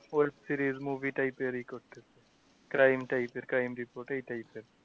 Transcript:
ওর series movie type এর ইয়ে crime type এর crime এই type এর।